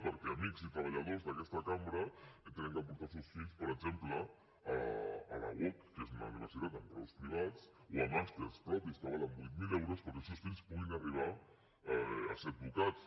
perquè amics i treballadors d’aquesta cambra han de portar els seus fills per exemple a la uoc que és una universitat amb graus privats o a màsters propis que valen vuit mil euros perquè els seus fills puguin arribar a ser advocats